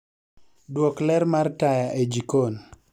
Duok ler mar taya e jikon